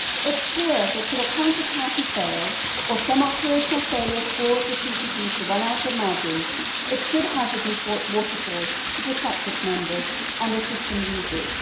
It is clear that should a counterparty fail or some operational failure cause the CCP to run out of margin, it should have the default waterfall to protect its members and the system users.